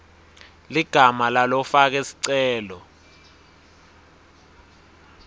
ligama lalofake sicelo